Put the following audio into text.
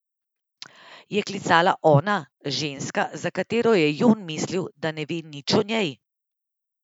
Je klicala ona, ženska, za katero je Jon mislil, da ne ve nič o njej?